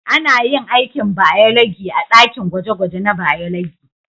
Ana yin aikin bayologi a dakin gwaje-gwaje na bayologi.